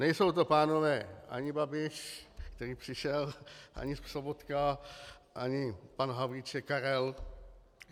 Nejsou to pánové ani Babiš - který přišel - ani Sobotka, ani pan Havlíček Karel.